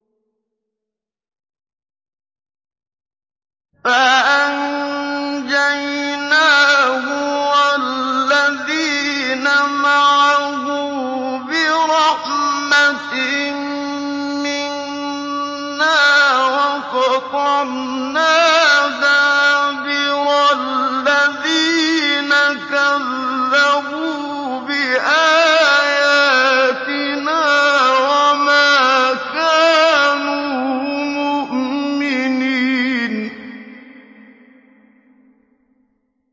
فَأَنجَيْنَاهُ وَالَّذِينَ مَعَهُ بِرَحْمَةٍ مِّنَّا وَقَطَعْنَا دَابِرَ الَّذِينَ كَذَّبُوا بِآيَاتِنَا ۖ وَمَا كَانُوا مُؤْمِنِينَ